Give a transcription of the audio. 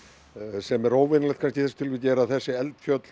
sem er óvenjulegt kannski í þessu tilviki er að þessi eldfjöll